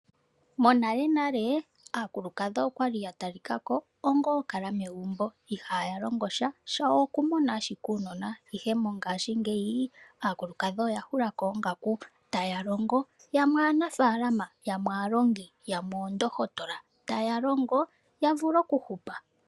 Monalenale aakulukadhi okwa li ya talika ko ongoo kala megumbo, ihaya longo sha, shawo oku mona ashike uunona. Ihe mongashingeyi, aakulukadhi oya hulako oongaku, taya longo. Yamwe aanafaalama, yamwee aalongi , yamwe oondohotola, ta ya longo ya vule okuhupa.